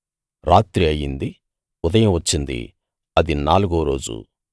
రాత్రి అయింది ఉదయం వచ్చిందినాలుగో రోజు